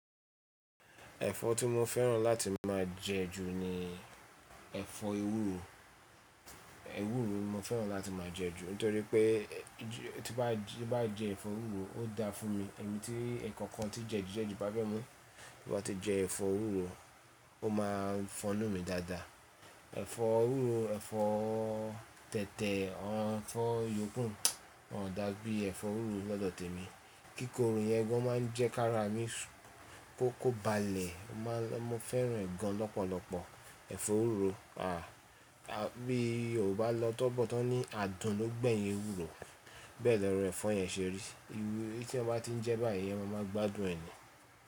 Ẹ̀fọ́ tí mo fẹ́ràn láti máa jẹ ju ni ẹ̀fọ́ ewúro. Ewúro ni mo fẹ́ràn láti máa jẹ ju nítorí pé tí nbá jẹ ẹ̀fọ́ ewúro ó dá fún mi ẹ̀mí tí ǹkan kan tí jedi jedi ji bá fẹ́ mu, bí mo bá ti jẹ ẹ̀fọ́ ewúro ó máa ń fọnù mí dáadáa. Ẹ̀fọ́ ewúro, ẹ̀fọ́ tẹ̀tẹ̀, ẹ̀fọ́ yòókù ò dá gbé ẹ̀fọ́ ewúro lọ́dọ̀ tèmi. Kíkòro yẹn ẹgọ́ máa ń jẹ́ ká ra mí kó kó ba lẹ̀, mo máa ń fẹ́ràne gan lọ́pọ̀lọpọ̀. Ẹ̀fọ́ ewúro, bí Yorùbá lọ́tọ́bọ́tọ́ ní adùn ló gbẹ̀yìn ewúro bẹ́ẹ̀ lọ ro ẹ̀fọ́ yẹn ṣe rí. Iwe tí ẹ bá ti ń jẹ báyìí eeyan máa máa gbádùn ẹ́ ni.